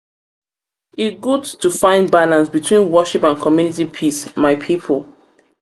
good to find balance between worship and community peace my pipo.